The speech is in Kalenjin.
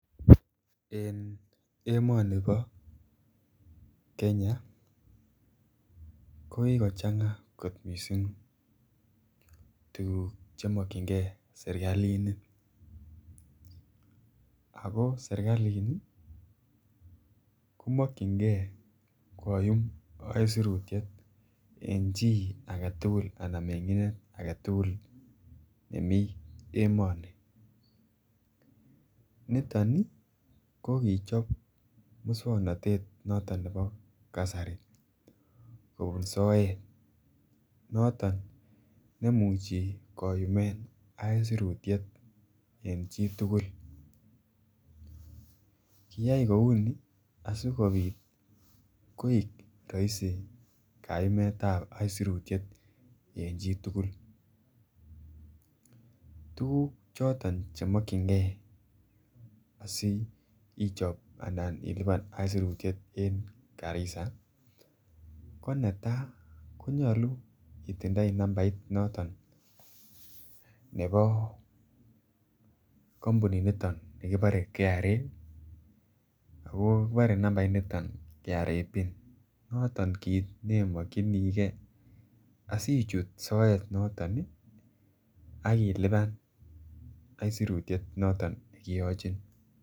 En emonibo Kenya ko kikochanga kot missing tuguk che mokyingee serkalini ako serkalini ko mokyingee koyum aisurutiet en chi anan mengindet agetugul nemii emoni. Niton ii ko kichob muswognotetab kasari kobun soet noton nemuche koyumen aisurutiet en chitugul. Kiyay kouni asikopit koik roisi kayumetap aisurutiet en chitugul. Tuguk choton che mokyingee asi ichob anan ilipan aisurutiet en Garissa ko netaa ko nyoluu itindoi nambait noton nebo kompunit niton nikibore KRA ako kibore nambait niton KRA pin noton kit ne mokyingee asichut soet noton ii ak ilipan aisurutiet noton ne kigochin